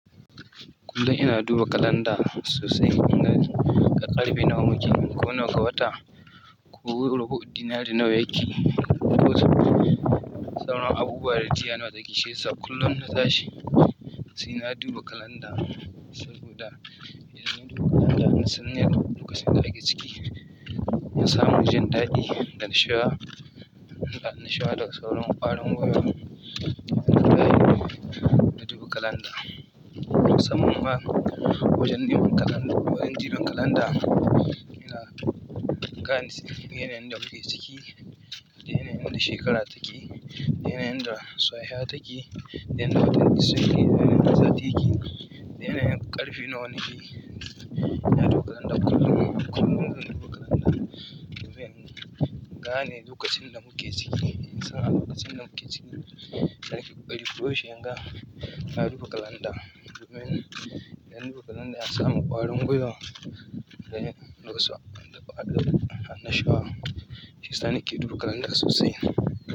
Kullum ina duba kalanda sosai, ina ƙarfe nawa muke, ko nawa ga wata, ko rubu'u, dinari nawa yake, ko sauran abubuwa da jiya na taki. Shi sab kullum na zashi sai na duba kalanda saboda idan na duba kalanda na san me ne lokacin da ake ciki. Na samu jin ɗadi da nasha, da nasha da sauran ƙwarin gwiwo idan naje na duba kalanda. Saman ma wajen duba kalanda, wajen jiran kalanda yana gane yanayin da muke ciki, yanayin da shekara take, yanayin da sahiya take, yanayin da watan ciki take, yanayin da sati take, yanayin ƙarfe nawa take. Ina duba kalanda kullum, kullum ina duba kalanda domin gane lokacin da muke ciki. In san abokacin da muke ciki, sani ƙwarin gwiwo shi yanga, na duba kalanda domin idan na duba kalanda na samu ƙwarin gwiwo da yanayin da ƙwarin anna shuwa. Shi sani ke duba kalanda sosai.